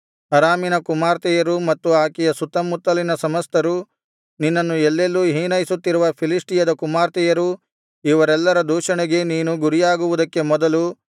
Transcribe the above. ಅರಾಮಿನ ಕುಮಾರ್ತೆಯರು ಮತ್ತು ಆಕೆಯ ಸುತ್ತಮುತ್ತಲಿನ ಸಮಸ್ತರು ನಿನ್ನನ್ನು ಎಲ್ಲೆಲ್ಲೂ ಹೀನೈಸುತ್ತಿರುವ ಫಿಲಿಷ್ಟಿಯದ ಕುಮಾರ್ತೆಯರು ಇವರೆಲ್ಲರ ದೂಷಣೆಗೆ ನೀನು ಗುರಿಯಾಗುವುದಕ್ಕೆ ಮೊದಲು